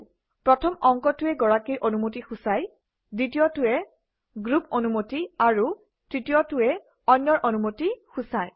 প্ৰথম অংকটোৱে গৰাকীৰ অনুমতি সূচায় দ্বিতীয়টোৱে গ্ৰুপ অনুমতি আৰু তৃতীয়টোৱে অন্যৰ অনুমতি সূচায়